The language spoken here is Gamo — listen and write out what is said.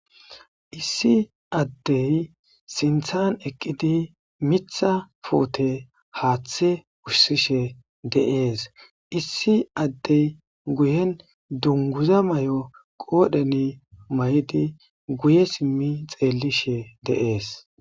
Issi addey sinthan eqqidi mitha puute haaththe wushsishe de'ees issi addey guyen dunguza may'o qoodheni may'idi guye simmi xeellishe deees.